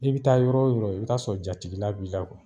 I bɛ taa yɔrɔ o yɔrɔ i bɛ ta'a sɔrɔ jatigila b'i la